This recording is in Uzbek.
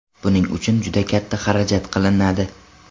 Buning uchun juda katta xarajat qilinadi.